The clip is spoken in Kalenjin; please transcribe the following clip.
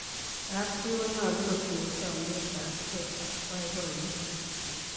kab chii konyalu kotinye chamiet ab kee ak baibaiet